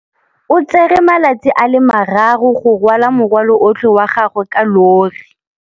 O tsere malatsi a le marraro go rwala morwalo otlhe wa gagwe ka llori.